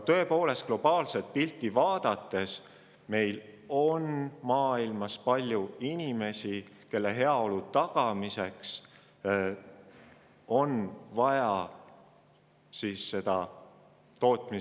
Tõepoolest, kui vaadata globaalset pilti, maailmas on palju inimesi, kelle heaolu tagamiseks on vaja tootmist ja tarbimist kasvatada.